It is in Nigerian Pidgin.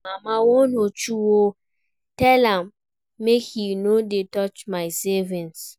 Mama warn Uche oo, tell am make he no dey touch my savings